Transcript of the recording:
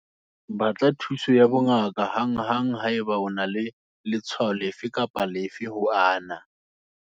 Batla thuso ya bongaka hanghang haeba o na le letshwao lefe kapa lefe ho ana.